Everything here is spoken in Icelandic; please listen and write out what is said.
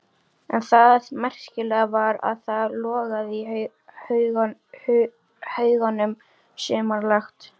En það merkilega var að það logaði í haugunum sumarlangt.